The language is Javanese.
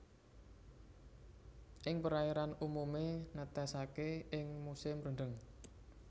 Ing perairan umumé netesaké ing musim rendheng